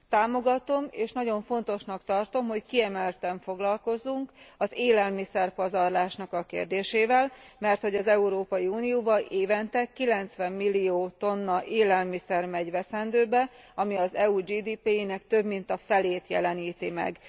Támogatom, és nagyon fontosnak tartom, hogy kiemelten foglalkozzunk az élelmiszer pazarlásnak a kérdésével, merthogy az Európai Unióban évente 90 millió tonna élelmiszer megy veszendőbe, ami az EU GDP jének több mint a felét jeleníti meg.